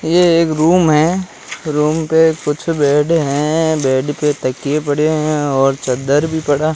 ये एक रूम है रूम पे कुछ बेड है बेड पे तकिए पड़े है और चद्दर भी पड़ा--